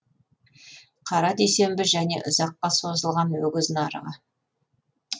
қара дүйсенбі және ұзаққа созылған өгіз нарығы